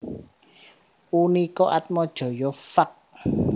Unika Atmajaya Fak